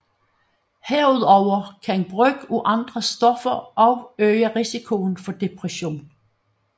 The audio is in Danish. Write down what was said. Herudover kan brug af andre stoffer også øge risikoen for depression